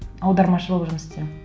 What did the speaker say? аудармашы болып жұмыс істеймін